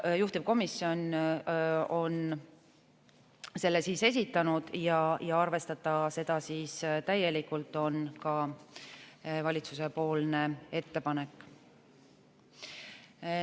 Juhtivkomisjon on selle esitanud ja ka valitsuse ettepanek on arvestada seda täielikult.